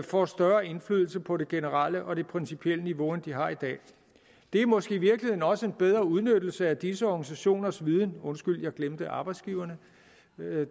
får større indflydelse på det generelle og det principielle niveau end de har i dag det er måske i virkeligheden også en bedre udnyttelse af disse organisationers viden undskyld at jeg glemte arbejdsgiverne